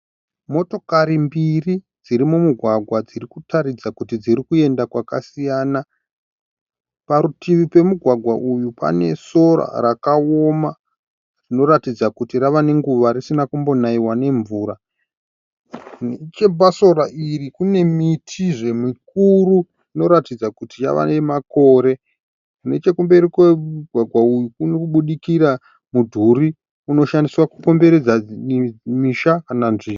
Motokari mbiri dziri mumugwagwa dzirikutaridza kuti dzirikuenda kwakasiyana. Parutivi pemugwagwa uyu pane sora rakaoma rinoratidza kuti rava nenguva risina kumbonaiwa nemvura, nechepadivi pesoro iri kune mitizve mikuru inoratidza kuti yavanamakore. Nechekumberi kwemugwagwa uyu kuri kuburikira mudhuri unoshandiswa kukomberedza misha kana nzvimbo.